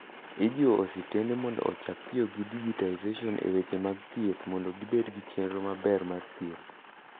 Ijiwo osiptande mondo ochak tiyo gi digitization e weche mag thieth mondo gibed gi chenro maber mar thieth.